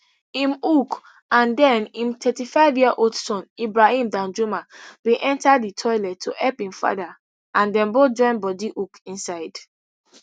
im hook and den im thirty-fiveyear old son ibrahim danjuma bin enta di toilet to help im father and dem both join bodi hook inside